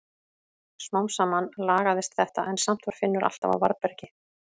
Smám saman lagaðist þetta en samt var Finnur alltaf á varðbergi.